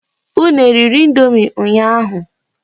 Unu eriri indomi ụnyaahụ?